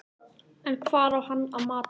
En hvar á hann að matast?